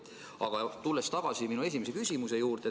Aga tulen tagasi oma esimese küsimuse juurde.